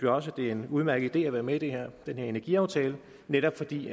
også det er en udmærket idé at være med i den her energiaftale netop fordi